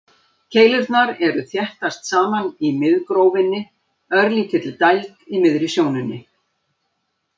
Keilurnar eru þéttast saman í miðgrófinni, örlítilli dæld í miðri sjónunni.